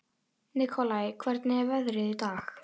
Nikolai, hvernig er veðrið í dag?